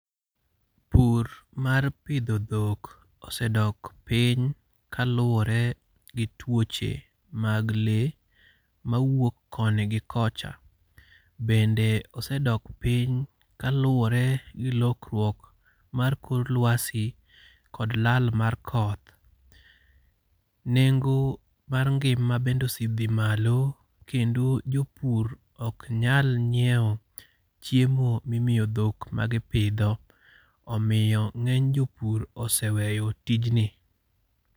Pur mar pidho dhok osedok piny kaluwore gi twoche mag le mawuok koni gi kocha. Bende osedok piny kaluwore gi lokruok mar kor lwasi kod lal mar koth. Nengo mar ngima bende osedhi malo, kendo jopur ok nyal nyiewo chiemo maimiyo dhok magipidho. Omiyo ng'eny jopur oseweyo tijni.